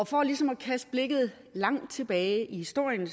for ligesom at kaste blikket langt tilbage i historien